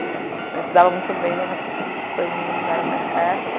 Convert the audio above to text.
A gente se dava muito bem, mas daqui a pouco as coisas não deram mais certo.